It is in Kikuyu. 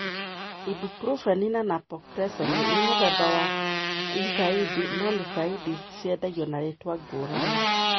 Ibuprofen na naproxen nĩ mũthemba wa NSAIDs, no NSAIDs ciendagio na rĩtwa ngũrani